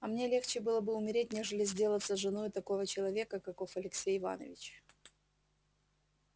а мне легче было бы умереть нежели сделаться женою такого человека каков алексей иванович